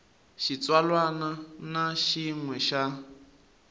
xitsalwana na xin we xa